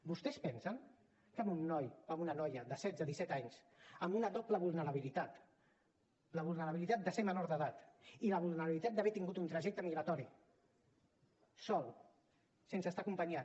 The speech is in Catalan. vostès pensen que a un noi o una noia de setze o disset anys amb una doble vulnerabilitat la vulnerabilitat de ser menor d’edat i la vulnerabilitat d’haver tingut un trajecte migratori sol sense estar acompanyat